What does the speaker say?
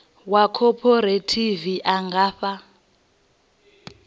wa khophorethivi a nga fha